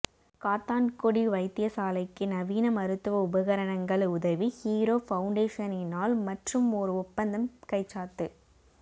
காத்தான்குடி வைத்தியசாலைக்கு நவீன மருத்துவ உபகரணங்கள் உதவி ஹீரோ பௌண்டேஷனினால் மற்றுமொரு ஒப்பந்தம் கைச்சாத்து